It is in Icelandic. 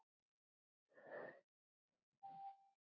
Hvenær kom hann hingað?